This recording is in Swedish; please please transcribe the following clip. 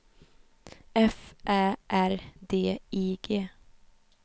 F Ä R D I G